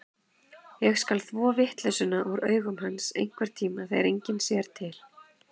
Ég skal þvo vitleysuna úr augum hans, einhverntíma þegar enginn sér til.